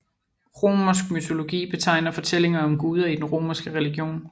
Romersk mytologi betegner fortællinger om guder i den romerske religion